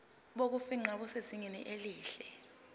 bokufingqa busezingeni elihle